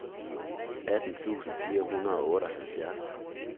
atten tusind fire hundrede og otteoghalvfjerds